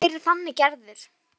Ég væri þannig gerður.